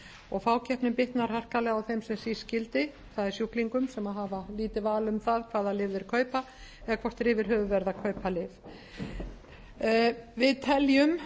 og fákeppnin bitnar harkalega á þeim sem síst skildi það er sjúklingum sem hafa lítið val um það hvaða lyf þeir kaupa eða hvort þeir yfir höfuð verða að kaupa lyf við teljum